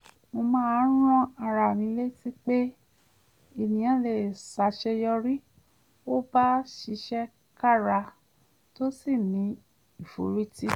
mo máa ń rán ara mi létí pé ènìyàn lè ṣàṣeyọrí ó bá ṣiṣẹ́ kára tó sì ní ìforítì